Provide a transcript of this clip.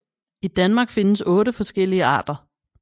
I Danmark findes 8 forskellige arter